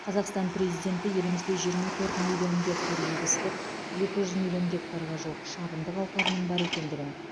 қазақстан президенті елімізде жиырма төрт миллион гектар егістік екі жүз миллион гектарға жуық шабындық алқабының бар екендігін